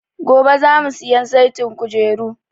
Gobe za mu siyan saitin kujeru